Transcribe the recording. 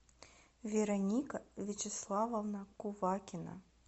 вероника вячеславовна кувакина